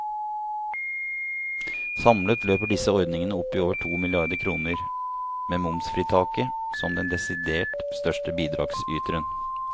Samlet løper disse ordningene opp i over to milliarder kroner, med momsfritaket som den desidert største bidragsyteren.